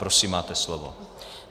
Prosím, máte slovo.